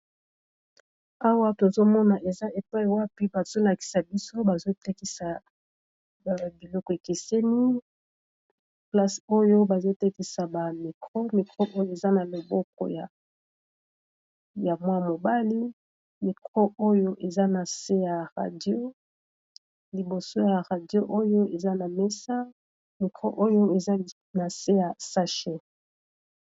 Awa tozomona eza epai wapi bazolakisa biso bazotekisa ba biloko ekeseni place oyo bazotekisa ba mikro mikro oyo eza na loboko ya mwana mobali mikro oyo eza na se ya radio liboso ya radio oyo eza na mesa mikro oyo eza nase ya sache.